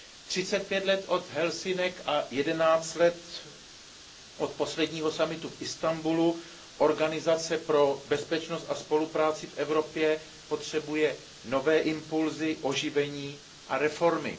Třicet pět let od Helsinek a jedenáct let od posledního summitu v Istanbulu Organizace pro bezpečnost a spolupráci v Evropě potřebuje nové impulzy, oživení a reformy.